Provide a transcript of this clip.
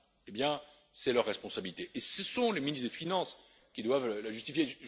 Eh bien, c'est leur responsabilité et ce sont les ministres des finances qui doivent la justifier.